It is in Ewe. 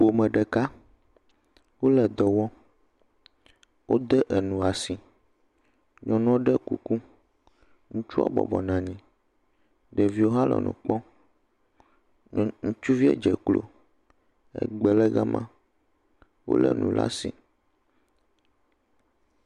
Ƒome ɖeka wo le dɔ wɔm. Wode enu si. Nyɔnu ɖo kuku. Ŋutsua bɔbɔnɔ anyi, ɖeviwo hã le nu kpɔm. ke ŋutsuviwo dze klo egbe le ga ma wo le nu ɖe asi.